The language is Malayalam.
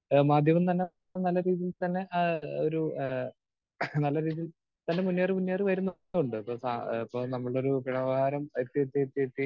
സ്പീക്കർ 2 ഏഹ് മാധ്യമം തന്നെ നല്ല രീതിയിൽ തന്നെ ആഹ് ഒരു ആഹ് നല്ല രീതിയിൽ തന്നെ മുന്നേറി മുന്നേറി വരുന്നുണ്ട്. ഇപ്പൊ സാ നമ്മുടെ ഒരു വ്യവഹാരം എത്തി എത്തി എത്തി